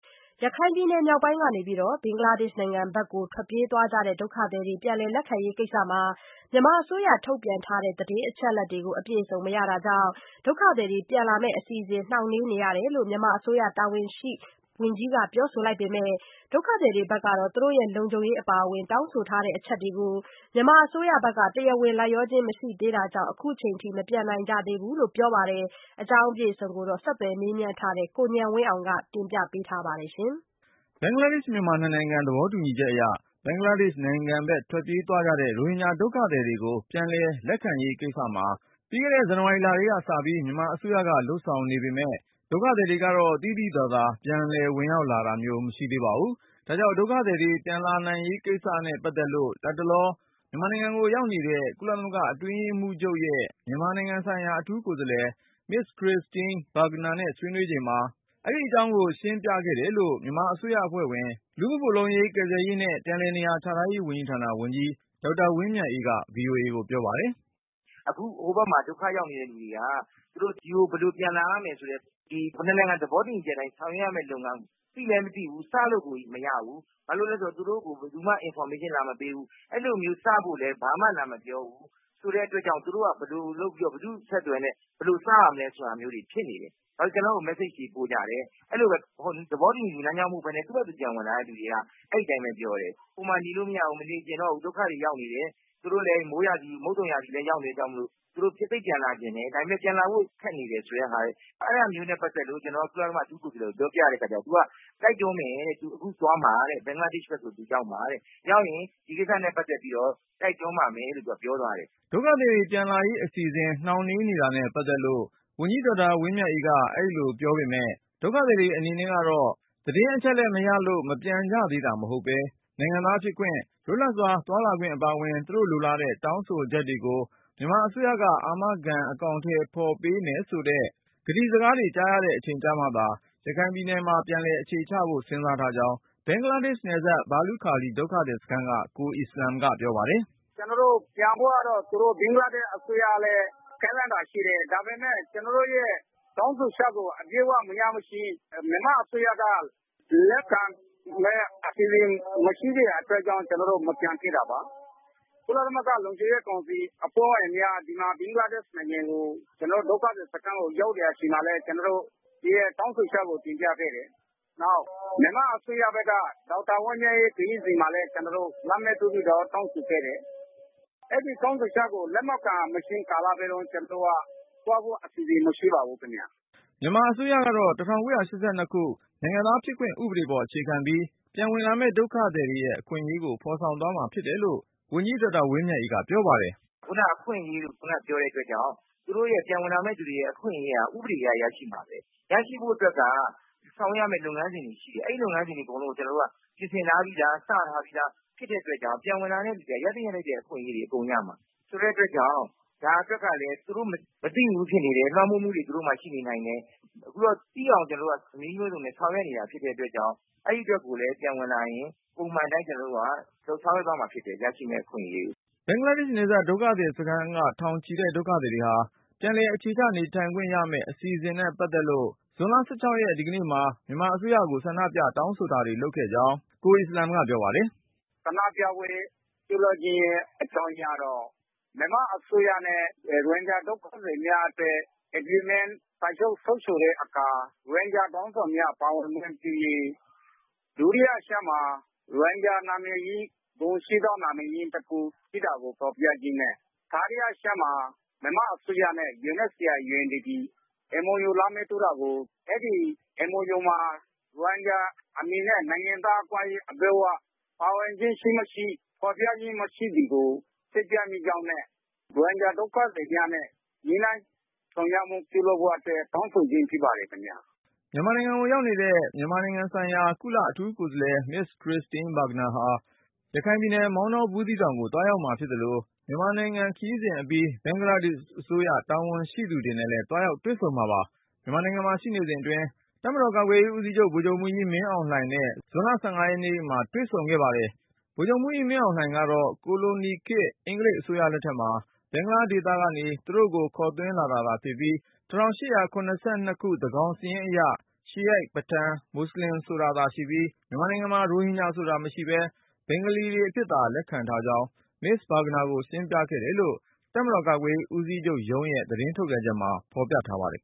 ရခိုင်ပြည်နယ် မြောက်ပိုင်းကနေ ဘင်္ဂလားဒေ့ရှ်နိုင်ငံဘက် ထွက်ပြေးသွားကြတဲ့ ဒုက္ခသည်တွေကို ပြန်လည် လက်ခံရေးကိစ္စမှာ မြန်မာအစိုးရထုတ်ပြန် ထားတဲ့ သတင်း အချက်အလက်တွေကို (ဒုက္ခသည်တွေက) အပြည့်အစုံမရတာကြောင့် ဒုက္ခသည်တွေ ပြန်လာမယ့်အစီအစဉ် နှောင့်နှေးနေရတယ်လို့ မြန်မာအစိုးရတာဝန်ရှိ ဝန်ကြီးက ပြောပေမယ့် ဒုက္ခသည်တွေကတော့ သူတို့ရဲ့လုံခြုံရေးအပါအဝင် တောင်းဆိုထားတဲ့ အချက်တွေကို မြန်မာအစိုးရက တရားဝင် လိုက်လျှောခြင်း မရှိသေးတာကြောင့် ခုချိန်ထိ မပြန်နိုင်သေးဘူးလို့ ပြောပါတယ်။ ဒီအကြောင်း ဆက်သွယ်မေးမြန်းထားတဲ့ ကိုဉာဏ်ဝင်းအောင်က တင်ပြပါမယ်။ ဘင်္ဂလားဒေ့ရှ်-မြန်မာ နှစ်နိုင်ငံ သဘောတူညီချက်အရ ဘင်္ဂလားဒေ့ရှ်နိုင်ငံဘက် ထွက်ပြေး သွားကြတဲ့ ရိုဟင်ဂျာ ဒုက္ခသည်တွေကို ပြန်လည်လက်ခံရေး ကိစ္စကို ပြီးခဲ့တဲ့ ဇန်နဝါရီလကတည်းကစပြီး မြန်မာအစိုးရက လုပ်ဆောင်နေပေမယ့် ဒုက္ခသည်တွေ ကတော့ သိသိသာသာ ပြန်လည်ဝင်ရောက်လာတာ မျိုးတော့ မရှိသေးပါဘူး။ ဒါကြောင့် ဒုက္ခသည်တွေ ပြန်လာရေးနဲ့ပတ်သက်လို့ လတ်တလော မြန်မာနိုင်ငံကို ရောက်နေတဲ့ ကုလသမဂ္ဂအတွင်းရေးမှူးချုပ်ရဲ့ မြန်မာပြည်ဆိုင်ရာ အထူးကိုယ်စားလှယ် Ms. Christine Schraner Burgener နဲ့ဆွေးနွေးချိန်မှာ အဲဒီအကြောင်းတွေကို ရှင်းပြ ဆွေးနွေးခဲ့တယ်လို့ မြန်မာအစိုးရအဖွဲ့ဝင် လူမှုဖူလုံရေး ကယ်ဆယ်ရေးနဲ့ ပြန်လည်နေရာချထားရေးဝန်ကြီးဌာန ဝန်ကြီး ဒေါက်တာဝင်းမြတ်အေးက VOA ကိုပြောပါတယ်။ “အခုဟိုဘက်မှာ ဒုက္ခရောက်နေတဲ့ လူတွေက သူတို့ဒီကို ဘယ်လိုပြန်လာရမလဲဆိုတဲ့ နှစ်နိုင်ငံ သဘောတူညီချက်အတိုင်း ဆောင်ရွက်ရမယ် လုပ်ငန်းကို သိလည်းမသိဘူး၊ စမ်းလို့ကို မရဘူး။ ဘာလို့လဲဆိုတော့ သူတို့ကို ဘယ်သူကမှ Information လာမပေးဘူး။ အဲလိုမျိုး စဖို့လည်းဘာမှ လာမပြောဘူး ဆိုတဲ့အတွက်ကြောင့် သူတို့က ဘယ်လို လုပ် ပြီးတော့ ဘယ်သူ့အဆက်သွယ်နဲ့ ဘယ်လိုစရမလဲ ဆိုတဲ့ဟာမျုးိတွေ ဖြစ်နေတယ်။ ဘာ လို့ဆို ကျနော့်ကို မက်ဆေ့ချ်တွေ ပို့ကြတယ်။ အဲဒီလိုပဲ သဘောတူညီ လမ်းကြောင်း က မဟုတ်ဘဲ သူ့ဟာသူ ပြန်ဝင်လာသူတွေက အဲဒီအတိုင်းပဲ ပြောတယ်။ ဟိုမှာနေလို့ မရ ဘူး၊ မနေချင်တော့ဘူး ဒုက္ခတွေရောက်နေတယ် မုတ်သုံရာသီလည်း ရောက်နေပြီ ဆိုတဲ့ အတွက်ကြောင့် သူတို့ သိပ်ပြန်လာချင်တယ်၊ ဒါပေမယ့် ပြန်လာဖို့ ခက်နေတယ် ဆိုတဲ့ ဟာ- အဲဒါမျိုးနဲ့ ပတ်သက်လို့ ကျနော်က ကုလသမဂ္ဂ အထူးကိုယ်စားလှယ်ကို ပြောပြတဲ့ အခါကျတော့ သူက တိုက်တွန်းမယ်တဲ့။ အခုသွားမှာက ဘင်္ဂလားဒေ့ရှ်ဘက်ကို သူ ရောက်မှာတဲ့… ရောက်ရင် ဒီကိစ္စနဲ့ ပတ်သက်ပြီးတော့ တိုက်တွန်းပါမယ်လို့ သူက ပြောသွားတယ်။ ” ဒုက္ခသည်တွေ ပြန်လာရေးအစီအစဉ် နှောင့်နှေးနေတာနဲ့ ပတ်သက်လို့ ဝန်ကြီး ဒေါက်တာ ဝင်းမြတ်အေးက အဲဒီလိုပြောပေမယ့် ဒုက္ခသည်တွေအနေနဲ့ သတင်းအချက်လက် မရလို့ မပြန်ကြသေးတာ မဟုတ်ပဲ၊ နိုင်ငံသားဖြစ်ခွင့် လွတ်လပ်စွာ သွားလာခွင့်အပါအဝင် သူတို့ လိုလားတဲ့ တောင်းဆိုချက်တွေကို မြန်မာအစိုးရက အာမခံ အကောင်ထည် ဖေါ်ပေးမယ် ဆိုတဲ့ ကတိစကားတွေ ကြားရတဲ့အချိန်ကျမှသာ ရခိုင်ပြည်နယ်မှာ ပြန်လည်အခြေချဖို့ စဉ်းစား ထားကြောင်း ဘင်္ဂလားဒေ့ရှ်နယ်စပ် ဘာလုခါလီ ဒုက္ခသည်စခန်းက ကိုအီစလမ်က ပြောပါတယ်။ “ကျနော်တို့ ပြန်ဖို့ကတော့ ဘင်္ဂလားဒေ့ရှ်အစိုးရကလည်း ကမ်းလှမ်းတာရှိတယ်။ ဒါပေ မယ့် ကျနော်တို့ရဲ့ တောင်းဆိုချက်ကို အပြည့်အဝ မရမချင်း၊ မြန်မာ အစိုးရက လက်ခံတဲ့ အစီအစဉ် မရှိသေးတဲ့အတွက်ကြောင့် ကျနော်တို့ မပြန်သေးတာပါ။ ကုလသမဂ္ဂ လုံခြုံရေး ကောင်စီအဖွဲ့ဝင်များ ဒီ ဘင်္ဂလား ဒေ့ရှ်နိုင်ငံ ကျနော်တို့ ဒုက္ခသည်စခန်းကို ရောက်တဲ့ အချိန်မှာလည်း ကျနော်တို့ရဲ့ တောင်းဆိုချက်ကို တင်ပြခဲ့တယ်။ နောက် မြန်မာ့အစိုးရ ဘက်က ဒေါက်တာ ဝင်းမြတ်အေး ခရီးစဉ်မှာလည်း ကျနော်တို့ လက်မှတ်ထိုးပြီးတော့ တောင်းဆိုခဲ့တယ်။ အဲဒီတောင်းဆိုချက်ကို လက်မခံမချင်း ကာလပတ်လုံး ကျနော်တို့က သွားဖို့အစီအစဉ် မရှိပါဘူးခင်ဗျား။ ” မြန်မာအစိုးရကတော့ ၁၉၈၂ ခုနှစ် နိုင်ငံသားဖြစ်ခွင့် ဥပဒေပေါ် အခြေခံပြီး ပြန်ဝင်လာ မယ့် ဒုက္ခသည်တွေရဲ့ အခွင့်အရေးတွေကို ဖေါ်ဆောင်ပေးသွားမှာ ဖြစ်တယ်လို့ ဝန်ကြီး ဒေါက်တာဝင်းမြတ်အေးက ပြောပါတယ်။ “ခုနက အခွင့်အရေးလို့ပြောတဲ့အတွက်ကြောင့် သူတို့ ပြန်ဝင်လာမယ့်သူတွေရဲ့ အခွင့် အရေးဟာ ဥပဒေအတိုင်း ရရှိမှာပဲ။ ရရှိဖို့အတွက်က ဆောင်ရွက် ရမယ့် လုပ်ငန်းစဉ်တွေ ရှိတယ်။ အဲဒီ လုပ်ငန်းစဉ်တွေ အကုန်လုံးကို ကျနော်တို့က ပြင်ဆင်ထားပြီးသား၊ စထားပြီး သား ဖြစ်တဲ့အတွက်ကြောင့် ပြန်ဝင်လာ တဲ့သူတွေက ရသင့်ရထိုက်တဲ့ အခွင့်အရေးတွေ အကုန်ရရှိမှာ.. ဆိုတဲ့အတွက်ကြောင့် ဒါအတွက်ကလည်း သူတို့ မသိဘူးဖြစ်နေတယ်၊ လွှမ်းမိုးမှုတွေ ရှိနေနိုင်တယ်။ အခုတော့ သူတို့သိအောင် ကျနော်တို့က နည်းမျိုးစုံနဲ့ ဆောင်ရွက်နေတာ ဖြစ်တဲ့အတွက်ကြောင့် အဲဒီအတွက်ကိုလည်း ပြန်ဝင်လာရင် ပုံမှန် အတိုင်း ကျနော်တို့က ဆောင်ရွက်သွားမှာဖြစ်တယ်.. သူတို့ရမယ့် အခွင့်အရေးတွေ အတွက်” ဘင်္ဂလားဒေ့ရှ်နယ်စပ် ဒုက္ခသည်စခန်းက ထောင်ချီတဲ့ဒုက္ခသည်တွေဟာ ပြန်လည် အခြေချ နေထိုင်ခွင့်ရမယ့်အစီအစဉ်နဲ့ ပတ်သက်လို့ ဇွန် (၁၆) ဒီကနေ့မှာ မြန်မာအစိုးရကို ဆန္ဒပြတောင်းဆိုတာတွေ လုပ်ခဲ့ကြောင်း ကိုအီစလမ်က ပြောပါတယ်။ “ဆန္ဒပြပွဲ ပြုလုပ်ရခြင်းအကြောင်းရင်းကတော့ မြန်မာအစိုးရနဲ့ ရိုဟင်ဂျာ ဒုက္ခသည်များ အတွက် စာချုပ်ချုပ်တဲ့အခါ ရိုဟင်ဂျာခေါင်းဆောင်များ ပါဝင်ခွင့် ပြုရေး၊ ဒုတိယအချက်က ရိုဟင်ဂျာနာမည်ကို ဂုဏ်ရှိသောနာမည် အဖြစ် ဖေါ်ပြပေးရေးနဲ့ တတိယအချက်က မြန်မာ အစိုးရနဲ့ UNHCR/ UNDP တို့ MOU လက်မှတ်ထိုးတာကို အဲဒီ MOU မှာ ရိုဟင်ဂျာ အမည်နဲ့ နိုင်ငံသားအခွင့်အရေး အပြည့်အဝ ပါဝင်ခြင်းရှိမရှိ မဖေါ်ပြတာကို စိတ်ပျက် မိကြောင်းနဲ့ ရိုဟင်ဂျာ ဒုက္ခသည်များနဲ့ နည်းလမ်းရှာ ဆောင်ရွက်မှုပြုလုပ်ဖို့ တောင်း ဆိုကြတာ ဖြစ်ပါတယ်ခင်ဗျာ။ ” မြန်မာနိုင်ငံကို ရောက်နေတဲ့ မြန်မာပြည်ဆိုင်ရာ ကုလ အထူးကိုယ်စားလှယ် Ms. Christine Schraner Burgener ဟာ ရခိုင်ပြည်နယ် မောင်တော ဘူးသီးတောင်ကို သွားရောက်မှာဖြစ်သလို မြန်မာနိုင်ငံခရီးစဉ်အပြီး ဘင်္ဂလာဒေ့ရှ်အစိုးရ တာဝန်ရှိသူတွေနဲ့ လည်း သွားရောက်တွေ့ဆုံမှာပါ။ မြန်မာနိုင်ငံမှာ ရှိနေစဉ်အတွင်း ကာကွယ်ရေးဦးစီးချုပ် ဗိုလ်ချုပ်မှူးကြီး မင်းအောင်လှိုင်နဲ့ ဇွန် (၁၅) ရက်နေ့မှာ တွေ့ဆုံခဲ့ပါတယ်။ ဗိုလ်ချုပ်မှူးကြီး မင်းအောင်လှိုင်ကတော့ ကိုလိုနီခေတ် အင်္ဂလိပ်အစိုးရလက်ထက်မှာ ဘင်္ဂလားဒေသ ကနေ သူတို့ကို ခေါ်သွင်းလာတာသာ ဖြစ်ကြောင်း၊ ၁၈၇၂ ခုနှစ် သန်းကောင်စာရင်းအရ ရှီးရိုက်၊ ပထန်နဲ့ မွတ်စလင် ဆိုတာသာရှိပြီး မြန်မာနိုင်ငံမှာ ရိုဟင်ဂျာဆိုတာ မရှိဘဲ ဘင်္ဂလီတွေ အဖြစ်သာ လက်ခံထားကြောင်း Ms. Burgener ကို ရှင်းပြခဲ့တယ်လို့ တပ်မတော် ကာကွယ်ရေး ဦးစီးချုပ်ရုံးရဲ့ သတင်းထုတ်ပြန်ချက်မှာ ဖေါ်ပြထားပါတယ်